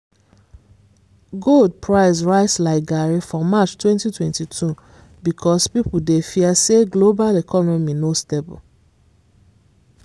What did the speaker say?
gold price rise like garri for march 2022 because people dey fear say global economy no stable